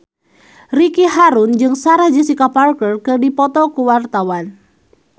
Ricky Harun jeung Sarah Jessica Parker keur dipoto ku wartawan